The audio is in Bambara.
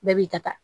Bɛɛ b'i ka ta